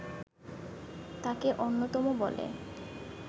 তাকে অন্যতম বলে